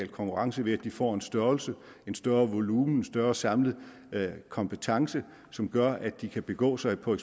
konkurrence ved at de får en størrelse en større volumen en større samlet kompetence som gør at de kan begå sig på